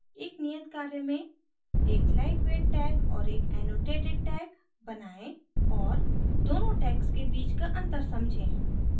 एक नियत कार्य में